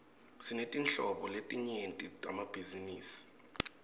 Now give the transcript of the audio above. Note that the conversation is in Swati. sinetinhlobo letinyenti temabhizinisi